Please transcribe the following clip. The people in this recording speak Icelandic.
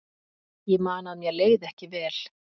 Ég man að mér leið ekki vel.